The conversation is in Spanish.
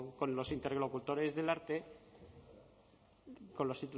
con los interlocutores del arte con los